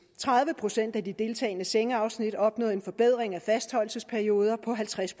tredive procent af de deltagende sengeafsnit opnåede en forbedring af fastholdelsesperioder på halvtreds